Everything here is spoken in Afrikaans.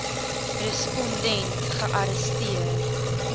respon dent gearresteer